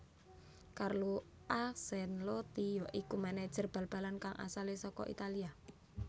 Carlo Ancelotti ya iku manajer bal balan kang asalé saka Italia